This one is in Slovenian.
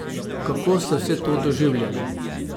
Kako ste vse to doživljali?